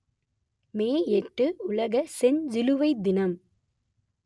மே எட்டு உலக செஞ்சிலுவை தினம்